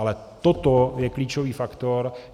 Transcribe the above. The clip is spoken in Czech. Ale toto je klíčový faktor.